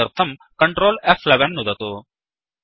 तदर्थं कंट्रोल फ्11 नुदतु